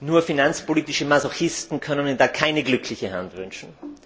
Nur finanzpolitische Masochisten können Ihnen da keine glückliche Hand wünschen.